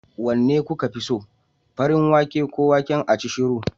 Wanne kuka fi so? farin wake ko waken acishiru?